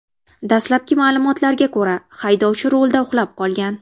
Dastlabki ma’lumotlarga ko‘ra, haydovchi rulda uxlab qolgan.